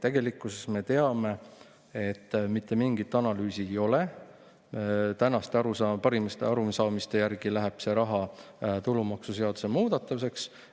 Tegelikkuses me teame, et mitte mingit analüüsi ei ole, tänaste parimate arusaamiste järgi läheb see raha tulumaksuseaduse muudatuse.